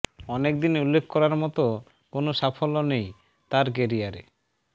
অনেকদিন উল্লেখ করার মতো কোনো সাফল্য নেই তার ক্যারিয়ারে